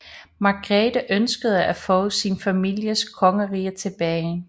Margrete ønskede at få sin families kongerige tilbage